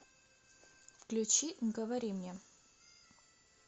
включи говори мне